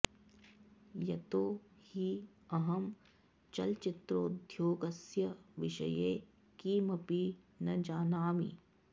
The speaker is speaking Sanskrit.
यतो हि अहं चलच्चित्रोद्योगस्य विषये किमपि न जानामि